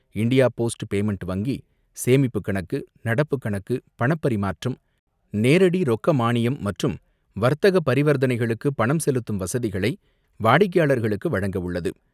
India post payment வங்கி சேமிப்பு கணக்கு, நடப்புக் கணக்கு, பணப்பரிமாற்றம், நேரடி ரொக்க மானியம் மற்றும் வர்த்தக பரிவர்த்தனைகளுக்கு பணம் செலுத்தும் வசதிகளை வாடிக்கையாளர்களுக்கு வழங்க உள்ளது.